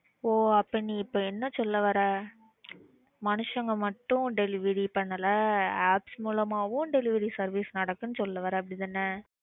ஓ அப்போ இப்ப நீ என்ன சொல்ல வர்ற? மனுசங்க மட்டும் delivery பண்ணல. apps மூலமாவும் delivery service நடக்குதுன்னு சொல்ல வர அப்படிதான.